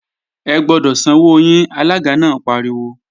Ẹ gbọ́dọ̀ sanwó yín! Alága náà pariwo